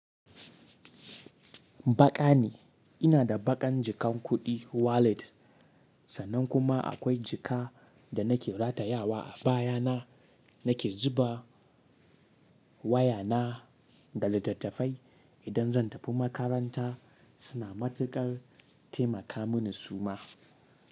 Baƙa ne, ina da baƙan jikan kuɗi wallet, sannan kuma akwai jika da nake ratayawa a baya na nake zuba waya na da littattafai idan zan tafi makaranta suna matuƙar taimaka mini suma.